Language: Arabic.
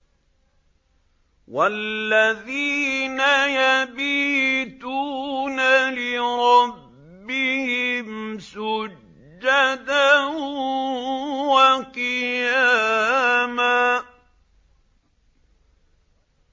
وَالَّذِينَ يَبِيتُونَ لِرَبِّهِمْ سُجَّدًا وَقِيَامًا